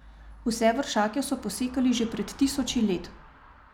Vse vršake so posekali že pred tisoči let.